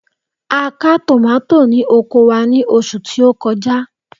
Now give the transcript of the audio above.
A ka tòmátò ní oko wa ní oṣù tí ó kọjá.